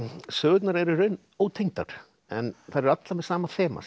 sögurnar eru í raun ótengdar en þær eru allar með sama þema sem